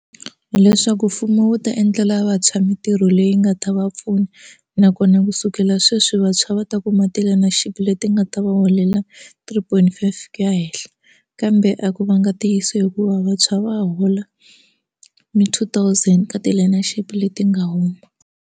Hileswaku mfumo wu ta endlela vantshwa mintirho leyi nga ta va pfuna nakona kusukela sweswi vantshwa va ta kuma ti-learnership leti nga ta va holela three point five ku ya henhla kambe a ku vanga ntiyiso hikuva vantshwa va hola mi two thousand ka ti-learnership leti nga huma.